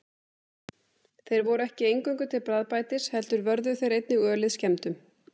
Þeir voru ekki eingöngu til bragðbætis heldur vörðu þeir einnig ölið skemmdum.